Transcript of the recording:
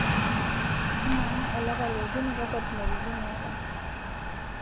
ama olapa liokuni kakwa tumoritin eetae